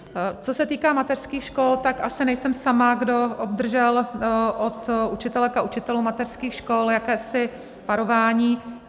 Co se týká mateřských škol, tak asi nejsem sama, kdo obdržel od učitelek a učitelů mateřských škol jakési varování.